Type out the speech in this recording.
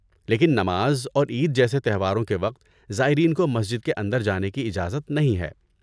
لیکن نماز اور عید جیسے تہواروں کے وقت زائرین کو مسجد کے اندر جانے کی اجازت نہیں ہے۔